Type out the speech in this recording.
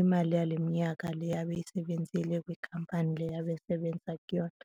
imali yaleminyaka le abeyisebenzile kwikhampani le abesebenza kuyona.